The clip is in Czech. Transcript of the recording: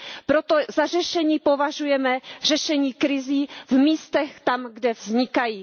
Proto za řešení považujeme řešení krizí v místech, kde vznikají.